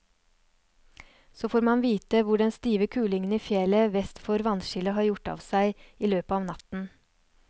Så får man vite hvor den stive kulingen i fjellet vest for vannskillet har gjort av seg i løpet av natten.